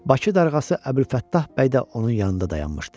Bakı darğası Əbülfəttah bəy də onun yanında dayanmışdı.